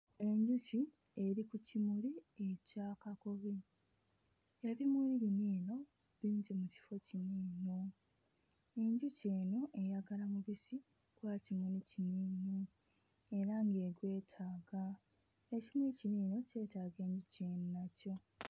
Enjuki eri ku kimuli ekya kakobe ebimuli bino eno bingi mu kifo kino eno, enjuki eno eyagala mubisi gwa kimuli kino eno era ng'egwetaaga, ekimuli kino eno kyetaaga enjuki eno nakyo.